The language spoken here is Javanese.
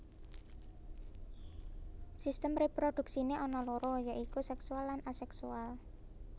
Sistem réprodhuksiné ana loro ya iku séksual lan aséksual